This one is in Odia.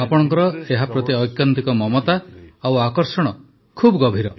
ଆପଣଙ୍କର ଏହା ପ୍ରତି ଐକାନ୍ତିକ ମମତା ଓ ଆକର୍ଷଣ ଖୁବ୍ ଗଭୀର